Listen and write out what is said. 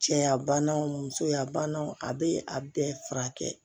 Cɛya banaw musoya banaw a bɛ a bɛɛ furakɛ